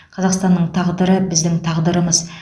қазақстанның тағдыры біздің тағдырымыз